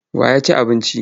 Wa ya ci abincin?